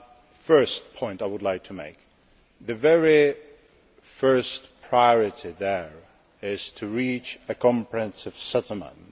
The first point I would like to make is that the very first priority there is to reach a comprehensive settlement.